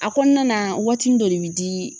A kɔnɔna na waatinin dɔ de bi di